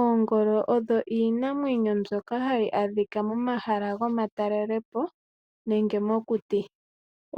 Oongolo odho iinamwenyo mbyoka hayi adhika momahala gomatelelepo nenge mokuti.